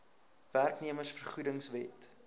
werknemers vergoedings wet